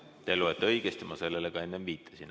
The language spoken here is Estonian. Te loete õigesti, ma sellele ka enne viitasin.